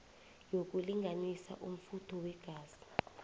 yokulinganisa umfutho weengazi